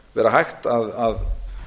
vera hægt að